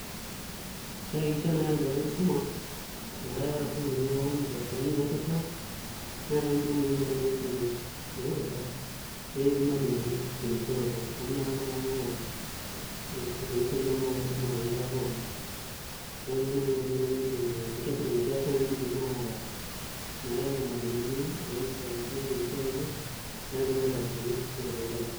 Pee iakikishia naai arubare enkisuma metaa keeta isukuulini pookin indarasani naitosha neetai mbukui kuna naisumi naitusha netii irmalimuni terisioroto amu inakata naai eeku itorisioki naa naai enkisuma toonkera pookin, neeku ninye naa naai enkoitoi naidimi enkias naai naidimi naai ataas metaa eetai irmalimuni oorisio ashu duo terisioroto neetai siinche indarasani naitosha nkera.